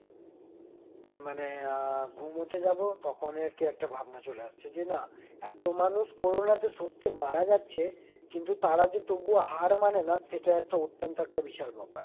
মানে আ ঘুমোতে যাবো তখন র কি একটা ভাবনা চলে আসছে যে, না এত মানুষ corona তে সত্যি মারা যাচ্ছে, কিন্তু তারা যে তবুও হার মানে না , সেটা একটা অত্যন্ত একটা বিশাল ব্যাপার।